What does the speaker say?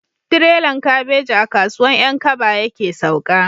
Tirelan kabeji a kasuwan 'yan kaba yake sauka